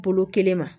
Bolo kelen ma